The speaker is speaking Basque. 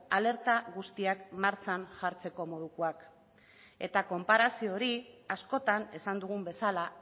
alerta guztiak martxan jartzeko modukoak eta konparazio hori askotan esan dugun bezala